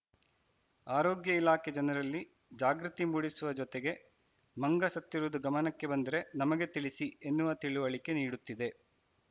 ಆರೋಗ್ಯ ಇಲಾಖೆ ಜನರಲ್ಲಿ ಜಾಗೃತಿ ಮೂಡಿಸುವ ಜೊತೆಗೆ ಮಂಗ ಸತ್ತಿರುವುದು ಗಮನಕ್ಕೆ ಬಂದರೆ ನಮಗೆ ತಿಳಿಸಿ ಎನ್ನುವ ತಿಳಿವಳಿಕೆ ನೀಡುತ್ತಿದೆ